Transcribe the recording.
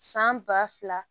San ba fila